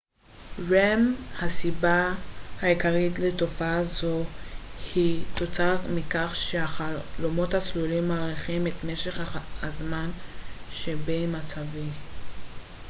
הסיבה העיקרית לתופעה זו היא תוצאה מכך שהחלומות הצלולים מאריכים את משך הזמן שבין מצבי rem